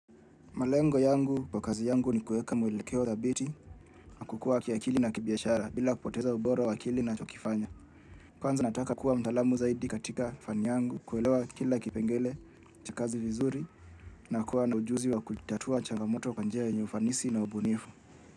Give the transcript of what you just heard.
Malengo yangu kwa kazi yangu ni kuweka mwelekeo dhabiti na kukua kiakili na kibiashara bila kupoteza ubora wa kile ninachokifanya. Kwanza nataka kuwa mtaalamu zaidi katika fani yangu kuelewa kila kipengele cha kazi vizuri na kuwa na ujuzi wa kutatua changamoto kwa njia yenye ufanisi na ubunifu.